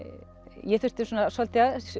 ég þurfti svolítið að